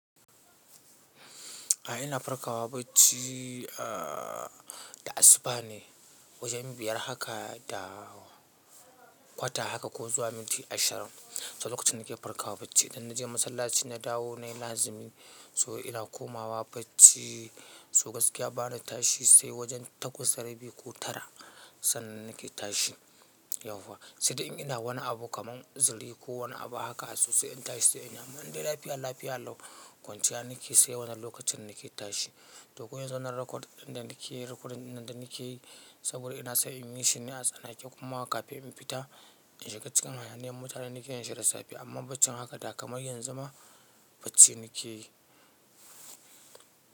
A ina farkawa bacci a da asuba ne, wajen biyar haka da kwata haka ko zuwa minti ashirin, saboda lokacin nake farkawa bacci, idan naje masallaci na dawo nayi lazimi so ina komawa bacci. To gaskiya bani tashi sai wajen takwas, da rabi ko tara sannan nake tashi yauwa. Sai dai in ina wani abu kaman uziri ko wani abu haka to sai in tashi sai in yi amman in dai lafiya, lafiya lau kwanciya nake sai wannan lokacin nake tashi. To ko yanzu wannan record ɗin da muke yi recording ɗin nan da nake yi saboda ina so in yi shi ne a tsanake kuma kafin in fita in shiga cikin hayaniyar mutane nake yin shi da safe amma baccin haka da kamar yanzu ma bacci nake yi.